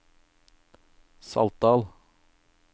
Saltdal